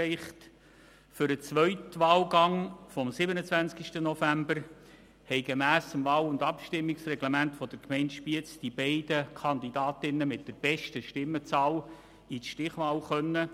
Für den zweiten Wahlgang am 27.11. konnten die beiden Kandidatinnen mit der besten Stimmenzahl gemäss dem Wahl- und Abstimmungsreglement der Gemeinde Spiez an der Stichwahl teilnehmen.